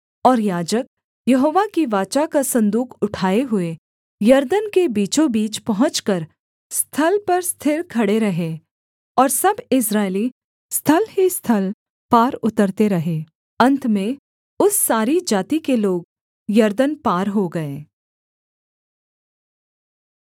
और याजक यहोवा की वाचा का सन्दूक उठाए हुए यरदन के बीचों बीच पहुँचकर स्थल पर स्थिर खड़े रहे और सब इस्राएली स्थल ही स्थल पार उतरते रहे अन्त में उस सारी जाति के लोग यरदन पार हो गए